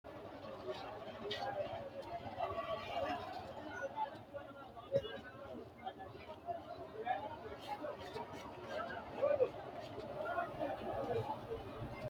Kuri lainanniri saadatewinni afi'neemmo ado fabriku giddora essine mooshine woy buko assine babbaxino uduunnichi giddo worre cunfe mannaho shiqinshanni gara ikkanna, togo assa ma horo uyitanno?